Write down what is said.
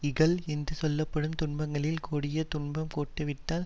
இகல் என்று சொல்ல படும் துன்பங்களில் கொடிய துன்பம் கெட்டுவிட்டால்